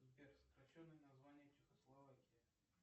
сбер сокращенное название чехословакии